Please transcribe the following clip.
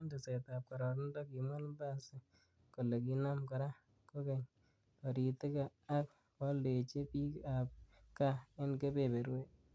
En tesetab kororonindo, kimwa Lumbasi kole kinam kora koyeny toritik ak koaldechi bik ab gaa en kebeberwek.